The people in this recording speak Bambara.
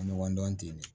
Ɲɔgɔn dɔn ten de